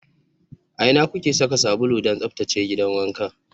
A ina kuke saka sabulu don tsaftace gidan wanka?